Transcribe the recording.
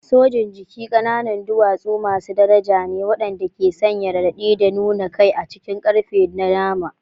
Sojin jiki ƙananan duwatsu masu daraja ne waɗanda ke sanya raɗaɗi da nuna kai a cikin ƙarfe da nama.